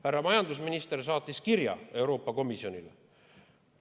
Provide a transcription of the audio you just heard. Härra majandusminister on saatnud kirja Euroopa Komisjonile.